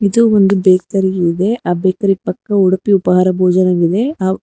ಇದು ಒಂದು ಬೇಕರಿ ಇದೆ ಆ ಬೇಕರಿ ಪಕ್ಕ ಉಡುಪಿ ಉಪಹಾರ ಭೋಜನವಿದೆ ಹಾ--